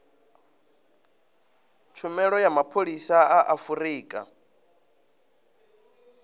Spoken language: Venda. tshumelo ya mapholisa a afurika